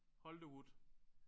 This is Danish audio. Holte wood